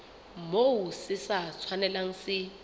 moo se sa tshwanelang se